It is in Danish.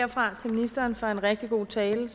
herfra til ministeren for en rigtig god tale